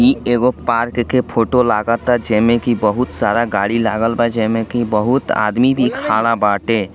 इ एगो पार्क के फोटो लागत अ जेमें की बहुत सारा गाड़ी लागल बा जेमें की बहुत आदमी भी खड़ा बाटे।